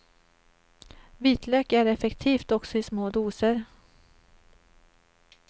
Vitlök är effektivt också i små doser.